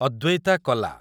ଅଦ୍ୱୈତା କଲା